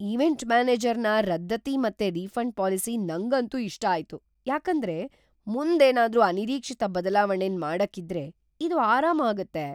Event ಮ್ಯಾನೇಜರ್ನ ರದ್ದತಿ ಮತ್ತು ರಿಫಂಡ್ ಪಾಲಿಸಿ ನಂಗಂತೂ ಇಷ್ಟ ಆಯ್ತು ಯಾಕಂದ್ರೆ ಮುಂದ್ ಏನಾದ್ರು ಅನಿರೀಕ್ಷಿತ ಬದ್ಲಾವಣೆನ್ ಮಾಡಕ್ ಇದ್ರೆ ಇದು ಆರಾಮ ಆಗುತ್ತೆ.